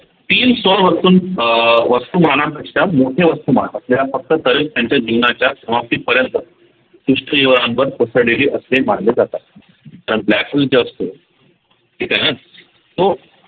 अह वस्तूमानापेक्षा मोठ्या वस्तूमान महत्वाच्या या फक्त त्यांच्या जीवनाच्या समाप्तीपर्यंत असे मानले जातात तर black hole जे असतो ठीक आहे ना तो